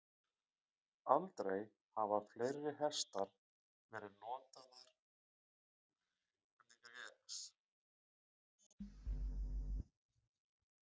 Aldrei hafa fleiri hestar verið notaðir í ófriði.